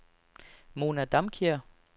Mona Damkjær